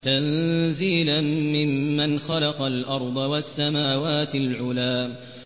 تَنزِيلًا مِّمَّنْ خَلَقَ الْأَرْضَ وَالسَّمَاوَاتِ الْعُلَى